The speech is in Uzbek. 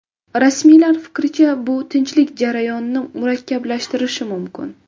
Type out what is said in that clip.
Rasmiylar fikricha, bu tinchlik jarayonini murakkablashtirishi mumkin.